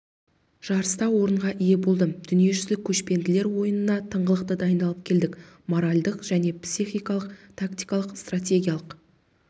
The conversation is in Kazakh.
жарыста орынға ие болдым дүниежүзілік көшпенділер ойынына тыңғылықты дайындалып келдік моральдық және психологиялық тактикалық стратегиялық